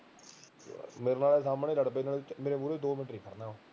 ਮੇਰੇ ਨਾਲ ਸਾਹਮਣੇ ਲੜ ਪਏ ਮੇਰੇ ਮੋਹਰੇ ਦੋ ਮਿੰਟ ਨੀ ਖੜਨਾ ਉਹਨੇ